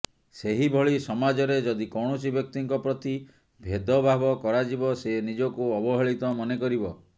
ସେହିଭଳି ସମାଜରେ ଯଦି କୌଣସି ବ୍ୟକ୍ତିଙ୍କ ପ୍ରତି ଭେଦଭାବ କରାଯିବ ସେ ନିଜକୁ ଅବହେଳିତ ମନେ କରିବ